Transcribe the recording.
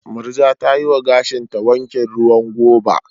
Murja ta yi wa gashinta wankin ruwan goba.